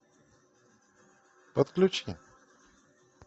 подключи